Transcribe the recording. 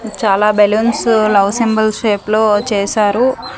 చాలా balloons love symbols shape లో చేసారు.